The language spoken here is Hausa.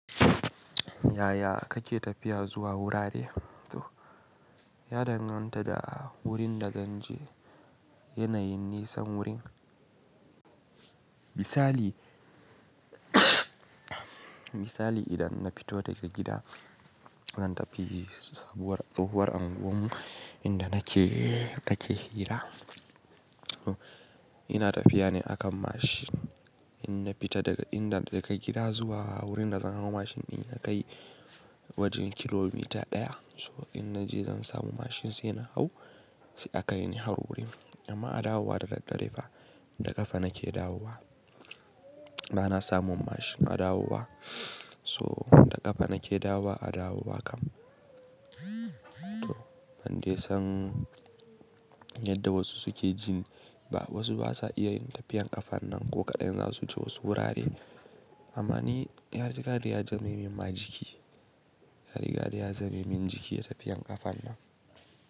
Yaya kake tafiya zuwa wurare? Ya danganta da wurin da zan je, yanayin nisan wurin. Misali, idan na fito daga gida zan tafi sabuwar tsohuwar unguwar mu inda nake hira. Ina tafiya ne a kan mashin. In na fita daga gida zuwa wurin da zan hau mashin din ya kai wajen kilomita ɗaya. To in naje zan samu mashin sai na hau, sai a kai ni har wurin. Amma a dawowa da dare fa, da ƙafa nake dawowa. Ba na samun mashin a dawowa. So da ƙafa nake dawowa a dawowa kam. Ban de san yadda wasu suke jin ba. Wasu ba za su iya yin tafiyar ƙafan nan ko kaɗan, za su ce wasu wurare. Amma ni yarikariyar jamimin majiki, yarikariyar jamimin jiki tafiyar ƙafan nan.